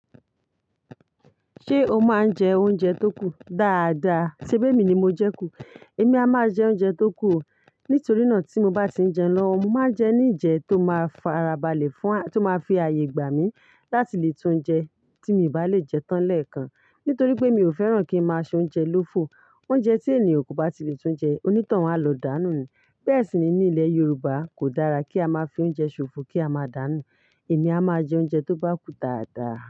Ṣé o máa ń jẹ oúnjẹ tó kù? Daáda. Sẹ́bí mi ni mo jẹ kù. Èmi a máa jẹ oúnjẹ tó kù. Nítorí náà tí mo bá ti ń jeun lọ́wọ́, mo máa ń jẹ ní ìjẹ tó máa fara balẹ̀ fún, tó máa fi ààyè gbà mí láti lè tún jẹ tí mi i bá lè jẹ tán lẹ́ẹ̀kan. Nítorí pé mi ò fẹ́ràn kí ń máa soúnjẹ lófo. Oúnjẹ tí ènìyàn kò bá ti lè tún jẹ, oní toun à ló dàá nù ni. Bẹ́ẹ̀ sì ni ní ilẹ̀ Yorùbá kò dára kí a máa fi oúnjẹ ṣòfò kí a máa dà nù. Èmi a máa jẹ oúnjẹ tó bá kù dáadáa.